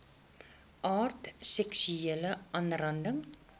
aard seksuele aanranding